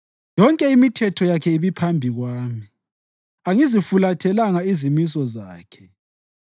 Yonke imithetho yakhe ibiphambi kwami; angizifulathelanga izimiso zakhe.